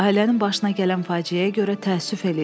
Ailənin başına gələn faciəyə görə təəssüf eləyirəm.